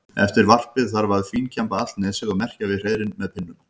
Eftir varpið þarf að fínkemba allt nesið og merkja við hreiðrin með pinnum.